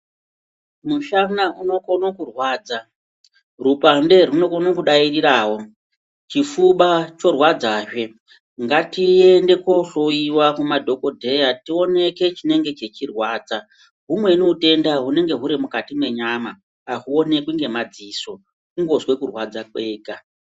Mushana unokono kurwadza. Rupande runokono kudairawo. Chifuva chorwadzazve. Ngatiende kohloyiwa kumadhokodheya tioneke chinenge chechirwadza. Humweni hutenda hunenge huri mukati menyama, hauonekwi ngemadziso. Kungozwe kurwadza kwega.